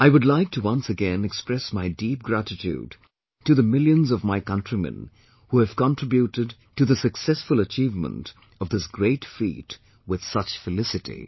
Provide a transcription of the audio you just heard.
I would like to once again express my deep gratitude to the millions of my countrymen who have contributed to the successful achievement of this great feat with such felicity